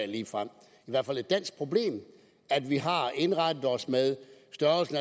ligefrem i hvert fald et dansk problem at vi har indrettet os med